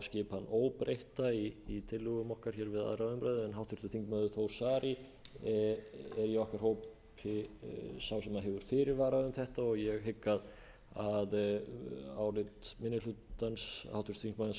skipan óbreytta í tillögum okkar hér við aðra umræðu háttvirtur þingmaður þór saari er í okkar hópi sá sem hefur fyrirvara um þetta og ég hygg að álit minni hlutans háttvirtur þingmaður birkis jóns jónssonar byggi meðal annars á þessu atriði